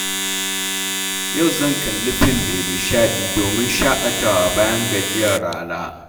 Yau zan kalli fim mai nishaɗi domin shakatawa bayan gajiyar rana.